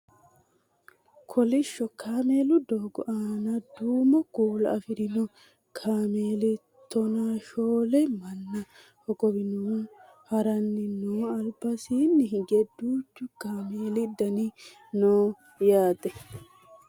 Kolishsho kameelu doogo aana duumo kuula afirino kameeli tonaashoole manna hogowannohu haranni no albasiinni hige duuchu kameeli daanni no yaate